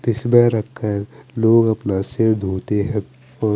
तिस्बे रखा है लोग अपना सिर धोते है और--